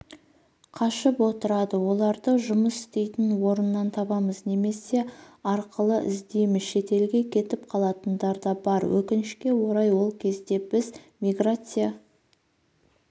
қашып отырады оларды жұмыс істейтін орнынан табамыз немесе арқылы іздейміз шетелге кетіп қалатындар да бар өкінішке орай ол кезде біз миграция